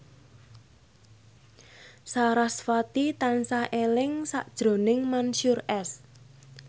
sarasvati tansah eling sakjroning Mansyur S